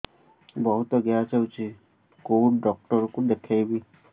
ବହୁତ ଗ୍ୟାସ ହଉଛି କୋଉ ଡକ୍ଟର କୁ ଦେଖେଇବି